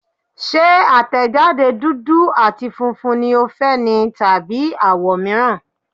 Ṣé àtẹ̀jáde dúdú àti funfun ni o fẹ́ ni tàbí àwọ̀ mìíràn.